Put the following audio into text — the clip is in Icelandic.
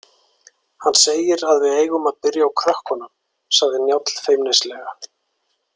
Hann segir að við eigum að byrja á krökkunum, sagði Njáll feimnislega.